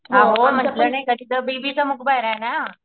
अहो म्हंटल तिथे बिबीचा मकबराये ना.